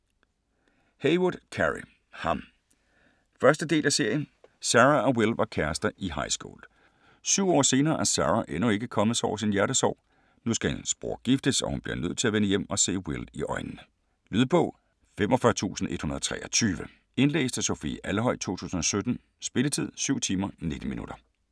Heywood, Carey: Ham 1. del af serie. Sarah og Will var kærester i highschool. 7 år senere er Sarah endnu ikke kommet sig over sin hjertesorg. Nu skal hendes bror giftes og hun bliver nødt til at vende hjem og se Will i øjnene. Lydbog 45123 Indlæst af Sofie Alhøj, 2017. Spilletid: 7 timer, 19 minutter.